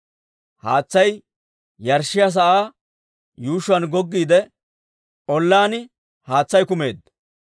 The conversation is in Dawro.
Haatsay yarshshiyaa sa'aa yuushshuwaan goggiide ollaan haatsay kumeedda.